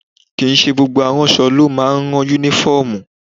Kì í ṣe gbogbo aránṣọ ló máa ń ran Únífọ́ọ̀mù